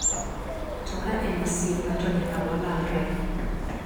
To ka en osiepna to nyaka walalre.